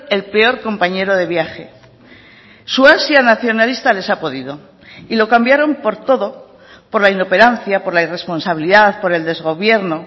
el peor compañero de viaje su ansia nacionalista les ha podido y lo cambiaron por todo por la inoperancia por la irresponsabilidad por el desgobierno